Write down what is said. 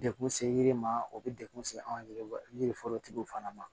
Dekun se yiri ma o bɛ dekun se anw yɛrɛ yiri forotigiw fana ma